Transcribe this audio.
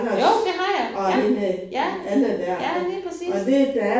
Jo det har jeg! Ja ja ja lige præcis